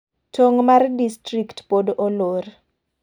Tong' mag distrikt pod olor.